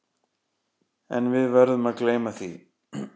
En við verðum að gleyma því.